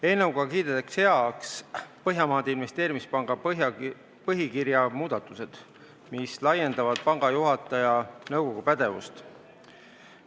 Eelnõuga kiidetakse heaks Põhjamaade Investeerimispanga põhikirja muudatused, mis laiendavad panga juhatajate nõukogu pädevust.